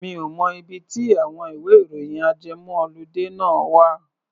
Mi ò mọ ibi tí àwọn ìwẹ́-ìròyìn ajẹmọ́-ọludé náà wà.